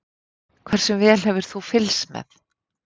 Hversu vel hefur þú fylgst með?